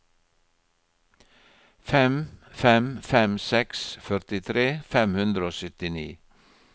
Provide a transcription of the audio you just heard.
fem fem fem seks førtitre fem hundre og syttini